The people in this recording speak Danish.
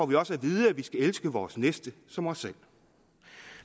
vi også at vide at vi skal elske vores næste som os selv